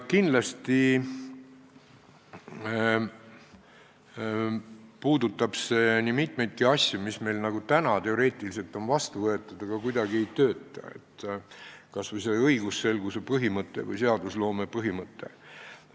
Kindlasti puudutab see nii mitmeidki asju, mis meil on teoreetiliselt vastu võetud, aga kuidagi ei tööta, kas või see õigusselguse põhimõte või seadusloome põhimõte.